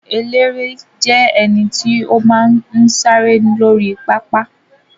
Eléré jẹ́ ẹnití ó máa ń sáré lórí pápá